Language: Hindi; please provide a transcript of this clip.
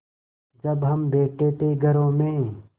जब हम बैठे थे घरों में